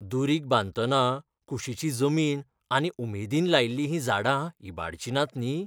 दुरीग बांदतना कुशिची जमीन आनी उमेदीन लायिल्लीं हीं झाडां इबाडचीं नात न्ही?